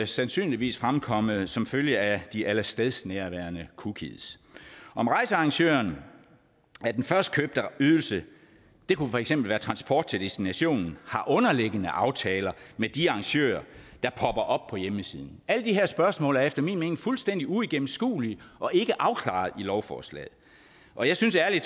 sandsynligvis fremkommet som følge af de allestedsnærværende cookies om rejsearrangøren af den førstkøbte ydelse det kunne for eksempel være transport til destinationen har underliggende aftaler med de arrangører der popper op på hjemmesiden alle de her spørgsmål er efter min mening fuldstændig uigennemskuelige og ikke afklaret i lovforslaget og jeg synes ærlig